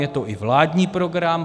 Je to i vládní program.